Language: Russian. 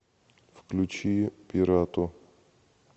включи пирато